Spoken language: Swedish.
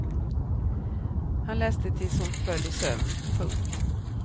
Han läste tills hon föll i sömn. punkt